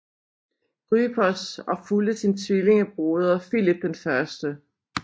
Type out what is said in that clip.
Grypos og fulgte sin tvillingebroder Filip 1